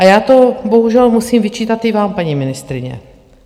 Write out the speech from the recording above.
A já to bohužel musím vyčítat i vám, paní ministryně.